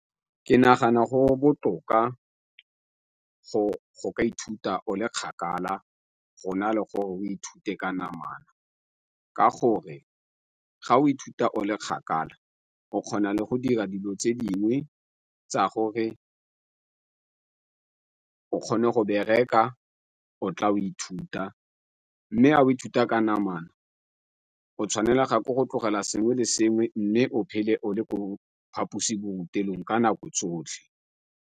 Ke nagana go botoka go go ka ithuta o le kgakala go na le gore o ithute ka namana ka gore ga o ithuta o le kgakala o kgona le go dira dilo tse dingwe tsa gore o kgone go bereka o tla o ithuta, mme ga ithuta ka namana o tshwanela ga ko go tlogela sengwe le sengwe mme o phele o le ko phaposiborutelong ka nako tsotlhe.